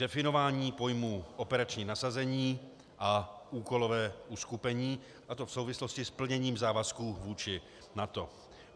Definování pojmů "operační nasazení" a "úkolové uskupení", a to v souvislosti s plněním závazků vůči NATO.